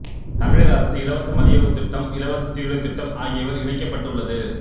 தமிழக அரசு இலவச மதிய உணவுத் திட்டம்இலவச சீருடைத் திட்டம் ஆகியவைகள் இணைக்கப்பட்டு உள்ளது